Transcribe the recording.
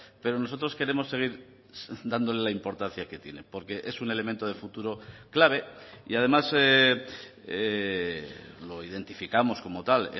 pero nosotros queremos seguir dándole la importancia que tiene porque es un elemento de futuro clave y además lo identificamos como tal